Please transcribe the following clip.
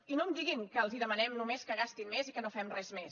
i no em diguin que els demanem només que gastin més i que no fem res més